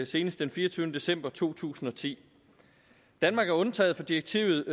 senest den fireogtyvende december to tusind og ti danmark er undtaget fra direktivet